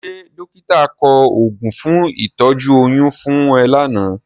Ṣé dọ́kítà kọ oògùn fún ìtọ́jú oyún fún ẹ lánàá?